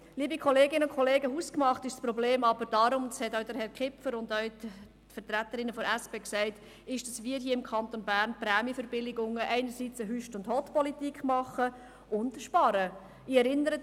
Liebe Kolleginnen und Kollegen, hausgemacht ist das Problem aber darum – das haben auch Herr Kipfer und Vertreterinnen der SP-JUSO-PSA-Fraktion gesagt –, weil mit den Prämienverbilligungen im Kanton Bern eine Hott-und-Hüst-Politik gemacht und gespart wird.